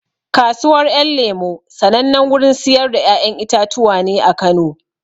Kasuwar ƴan lemo sanannen wurin siyar da ƴaƴan itatuwa ne a Kano